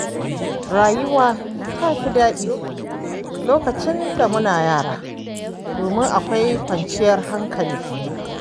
Rayuwa ta fi daɗi lokacin da muna yara, domin akwai kawanciyar hankali